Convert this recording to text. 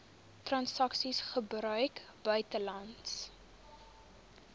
transaksies gebruik buitelandse